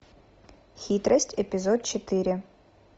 хитрость эпизод четыре